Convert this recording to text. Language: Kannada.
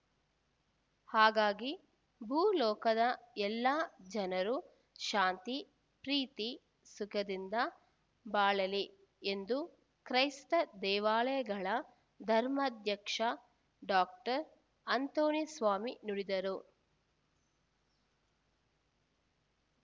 ಹಾಗಾಗಿ ಭೂ ಲೋಕದ ಎಲ್ಲ ಜನರು ಶಾಂತಿ ಪ್ರೀತಿ ಸುಖದಿಂದ ಬಾಳಲಿ ಎಂದು ಕ್ರೈಸ್ತ ದೇವಾಲಯಗಳ ಧರ್ಮಾಧ್ಯಕ್ಷ ಡಾಕ್ಟರ್ ಅಂತೋಣಿಸ್ವಾಮಿ ನುಡಿದರು